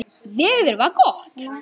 Veður var gott.